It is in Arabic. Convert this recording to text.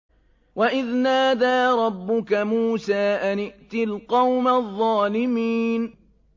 وَإِذْ نَادَىٰ رَبُّكَ مُوسَىٰ أَنِ ائْتِ الْقَوْمَ الظَّالِمِينَ